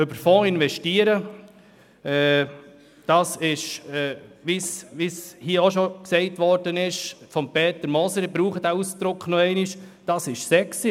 Über Fonds zu investieren – wie es schon Peter Moser gesagt hat, ich verwende den Ausdruck noch einmal – das ist sexy.